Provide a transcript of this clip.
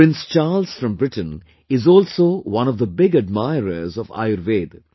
Prince Charles from Britain is also one of the big admirers of Ayurveda